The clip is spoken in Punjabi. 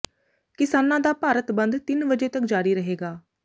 ਕਿਸਾਨਾਂ ਦਾ ਭਾਰਤ ਬੰਦ ਤਿੰਨ ਵਜੇ ਤੱਕ ਜਾਰੀ ਰਹੇਗਾ